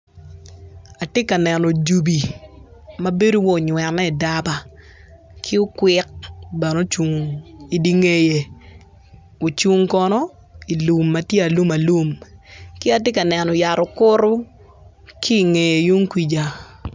Atye ka neno jobi mabedo waci onywene idaba ki okwick bene ocung idye ngeye ocung kono ilum ma tye alum alum ki atye ka neno yat okutu ki ingeye yung kwica